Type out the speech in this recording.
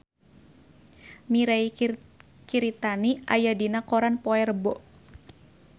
Mirei Kiritani aya dina koran poe Rebo